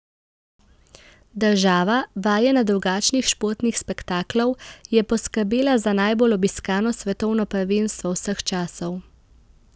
Država, vajena drugačnih športnih spektaklov, je poskrbela za najbolj obiskano svetovno prvenstvo vseh časov.